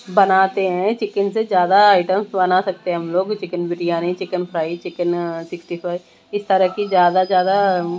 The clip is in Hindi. बनाते हैं चिकिन से ज्यादा आइटम् बना सकते हैं हम लोग chicken biryani chicken fry chicken sixty five इस तरह की ज्यादा-ज्यादा --